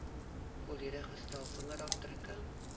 volledige stel vingerafdrukke